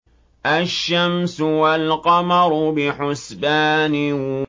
الشَّمْسُ وَالْقَمَرُ بِحُسْبَانٍ